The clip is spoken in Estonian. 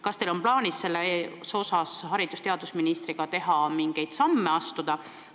Kas teil on plaanis selles osas koos haridus- ja teadusministriga mingeid samme astuda?